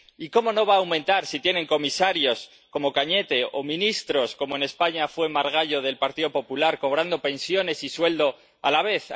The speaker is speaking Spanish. Y, cómo no va a aumentar si tiene comisarios como Cañete o antiguos ministros como, en España, Margallo, del Partido Popular, cobrando pensiones y sueldo a la vez.